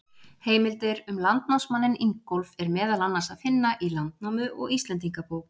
Heimildir um landnámsmanninn Ingólf er meðal annars að finna í Landnámu og Íslendingabók.